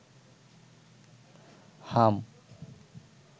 হাম